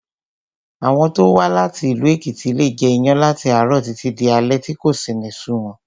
Àwọn tó wá láti ìlú Èkìtì leè jẹ iyán láti àárọ̀ títí di alé tí kò sì ní sú wọn